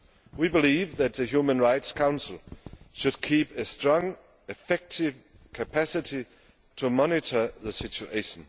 We believe that the Human Rights Council should maintain a strong, effective capacity to monitor the situation.